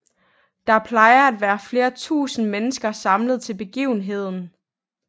Der plejer at være flere tusinde mennesker samlet til begivenheden